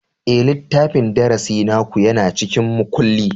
Ee, littafin darasi naku yana cikin makulli.